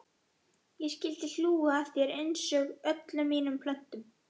Ég skyldi hlú að þér einsog öllum mínum plöntum.